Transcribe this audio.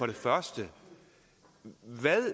det første